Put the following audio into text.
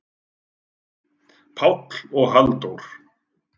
Páll og Halldór?